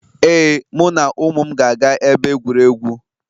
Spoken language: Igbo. Ee, mụ na ụmụ m ga-aga ebe egwuregwu